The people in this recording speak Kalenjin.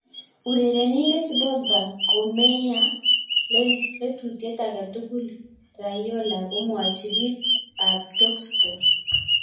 Urerenindet Pogba komayay lelutiet age tugul, Raiola komwachi biik ab Talksport.